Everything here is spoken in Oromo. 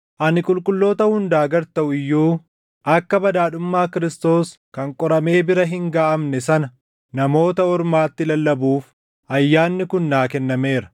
Ani qulqulloota hundaa gad taʼu iyyuu akka badhaadhummaa Kiristoos kan qoramee bira hin gaʼamne sana Namoota Ormaatti lallabuuf ayyaanni kun naa kennameera;